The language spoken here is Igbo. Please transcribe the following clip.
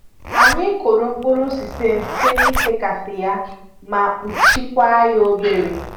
Anyị kụrụ mkpụrụ sisem site n'ifekasị ya ma kpuchikwa ya obere